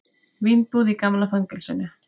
Vínbúð í gamla fangelsinu